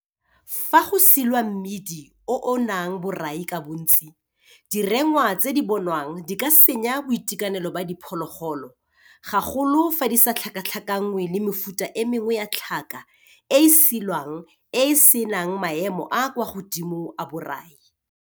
Fa go silwa mmidi o o nang borai ka bontsi, "direngwa" tse di bonwang di ka senya boitekanelo ba diphologolo gagolo fa di sa tlhakatlhakangwe le mefuta e mengwe ya tlhaka e e silwang e e se nang maemo a a kwa godimo a borai.